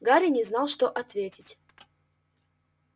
гарри не знал что ответить